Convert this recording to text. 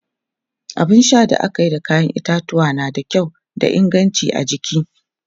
abun Sha da akayi da kayan itatuwwa na da kyau da inganci a jiki